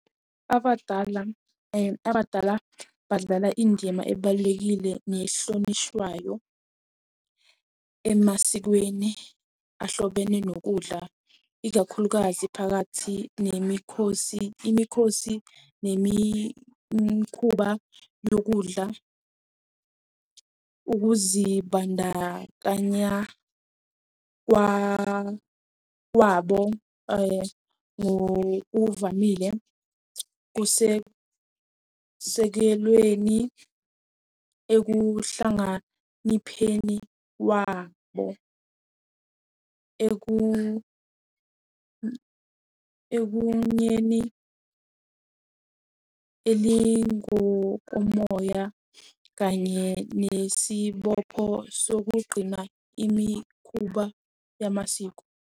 Abadala, abadala badlala indima ebalulekile nehlonishwayo emasikweni ahlobene nokudla, ikakhulukazi phakathi nemikhosi. Imikhosi nemikhuba yokudla, ukuzibandakanya kwabo ngokuvamile kusekusekelweni ekuhlanganipheni wabo. elingukomoya kanye nesibopho sokugqina imikhuba yamasiko.